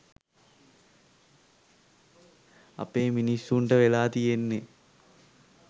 අපේ මිනිස්සුන්ට වෙලා තියෙන්නෙ